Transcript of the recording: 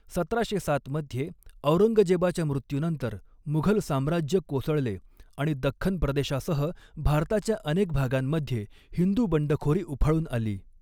सतराशे सात मध्ये औरंगजेबाच्या मृत्यूनंतर, मुघल साम्राज्य कोसळले आणि दख्खन प्रदेशासह भारताच्या अनेक भागांमध्ये हिंदू बंडखोरी उफाळून आली.